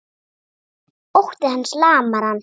Ótti hans lamar hana.